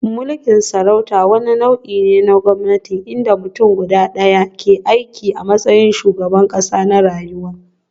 Mulkin sarauta wani nau'i ne na gwamnati inda mutum guda ɗaya, ke aiki a matsayin shugaban ƙasa na rayuwa.